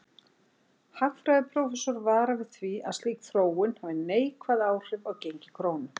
Hagfræðiprófessor varar við því að slík þróun hafi neikvæð áhrif á gengi krónu.